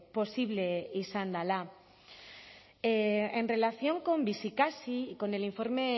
posible izan dela en relación con bizikasi con el informe